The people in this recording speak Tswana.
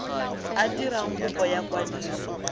a dirang kopo ya kwadiso